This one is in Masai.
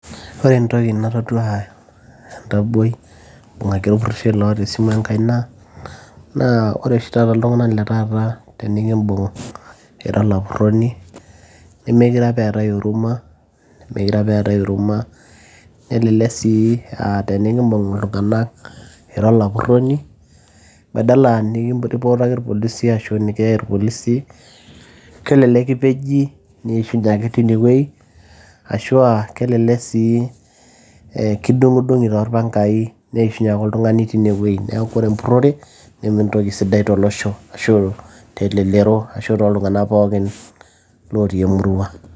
ore entoki natodua entaboi ibung'aki olpurrishoi loota esimu enkaina naa ore oshi taata iltung'anak le taata tenikimbung ira olapurroni nemekire apa eetay oruma, meekire apa eetae huruma elelek sii aa tenikimbung iltung'anak ira olapurroni badala nikimpotaki irpolisi ashu nikiyai irpolisi kelelek kipeji niishunye ake tinewueji ashua kelelek sii eh kidung'idung'i torpangai neishunye ake oltung'ani tine wueji neeku ore empurrore nementoki sidai tolosho ashu telelero ashu toltung'ana pookin lotii emurua.